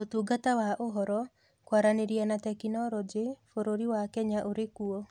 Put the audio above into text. Ũtungata wa Ũhoro, Kwaranĩria na Teknoroji, bũrũri wa Kenya ũrĩ kuo.